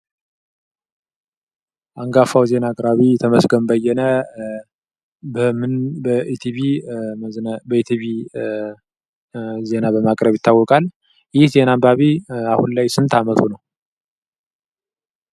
አንጋፋው ዜና አቅራቢ ተመስገን በየነ በምን በኢቲቪ ዜና በማቅረብ ይታወቃል ? ይህ ዜና አንባቢ አሁን ላይ ስንት ዓመቱ ነው ?